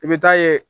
I bɛ taa ye